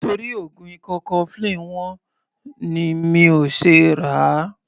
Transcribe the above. Nítorí oògùn ikọ́ cofflin wọ́n ni mi ò ṣe ràá.